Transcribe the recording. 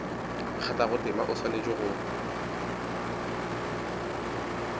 kgathago tema o swanetše go